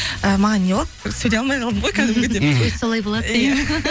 і маған не болды сөйлеу алмай қалдым ғой кәдімгідей мхм солай болады